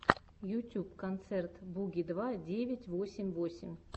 ютюб концерт буги два девять восемь восемь